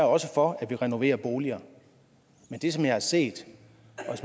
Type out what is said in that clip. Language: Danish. også for at vi renoverer boliger men det som jeg har set